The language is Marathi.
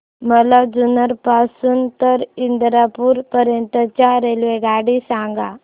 मला जुन्नर पासून तर इंदापूर पर्यंत ची रेल्वेगाडी सांगा